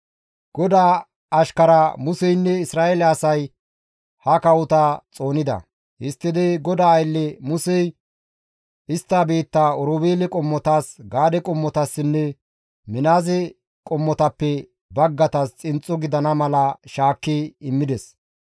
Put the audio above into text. GODAA ashkara Museynne Isra7eele asay ha kawota xoonida; histtidi GODAA aylle Musey istta biittaa Oroobeele qommotas, Gaade qommotassinne Minaase qommotappe baggaytas xinxxo gidana mala shaakki immides.